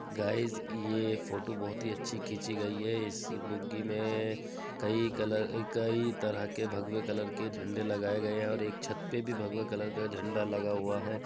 Guys ये photo बहुत अच्छा खिची गई है। इस बूगी में कई कलर कई तरह के भगवे कलर झंडे लगाए गए हैं और एक छत पर भी भगवा कलर के झंडा लगा हुआ है।